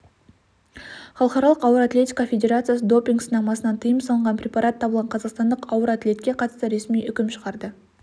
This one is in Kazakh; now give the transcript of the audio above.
халықаралық ауыр атлетика федерациясы допинг-сынамасынан тыйым салынған препарат табылған қазақстандық ауыр атлетке қатысты ресми үкім шығарды